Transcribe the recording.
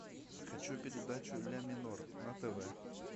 хочу передачу ля минор на тв